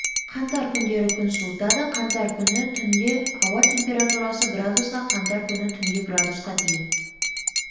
қаңтар күндері күн суытады қаңтар күні түнде ауа температурасы градусқа қаңтар күні түнде градусқа дейін